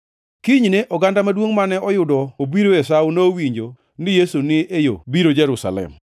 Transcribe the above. Kinyne, oganda maduongʼ mane oyudo obiro e Sawo nowinjo ni Yesu ni e yo biro Jerusalem.